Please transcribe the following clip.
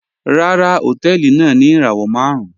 Ràrà, họ̀tẹ̀ẹlì náà ni irawọ màrùn